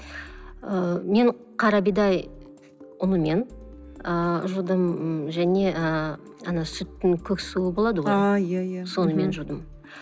ыыы мен қара бидай ұнымен ыыы жудым м және ыыы ана сүттің көк суы болады ғой ааа иә иә сонымен жудым